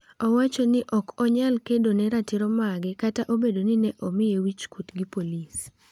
Owacho ni ne ok onyal kedo ne ratiro mage kata obedo ni ne omiye wich kuot gi polis?